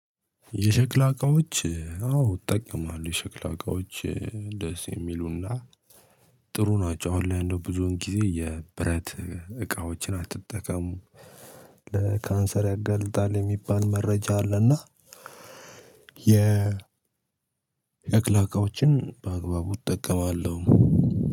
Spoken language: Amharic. የሸክላ እቃዎች አዎ እጠቀማለሁ። የሸክላ እቃዎች ደስ የሚሉና ጥሩ ናቸው። አሁን ላይ እንደውም ብዙውን ጊዜ የብረት እቃዎችን አትጠቀሙ። ለካንሰር ያገልጣል የሚባል መረጃ አለና የ የሸክላ እዎችን በአግባቡ እጠቀማለሁ።